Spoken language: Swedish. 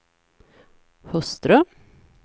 hustru